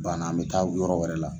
Bana an mi taa yɔrɔ wɛrɛ la.